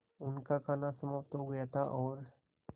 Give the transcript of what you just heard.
उनका खाना समाप्त हो गया था और